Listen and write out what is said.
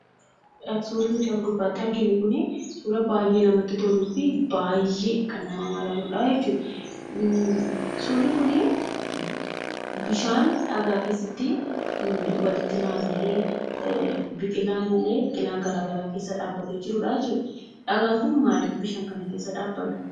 Suurri as gubbatti arginu kun, suuraa baay'ee namatti toluu fi baay'ee nama mararudha. suurri kuni bishaan dhagaa keessatti walitti naanna'ee biqilaan garaagara keessa dhabbate jirudha jechudha. dhagaan kun maaliif bishaan kana keessa dhabbate?